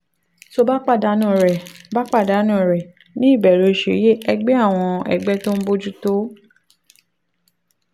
tó o bá pàdánù rẹ̀: bá pàdánù rẹ̀: ní ìbẹ̀rẹ̀ oṣù yìí ẹgbẹ́ àwọn ẹgbẹ́ tó ń bójú tó